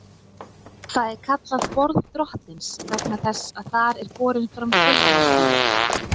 Það er kallað borð Drottins vegna þess að þar er borin fram kvöldmáltíðin.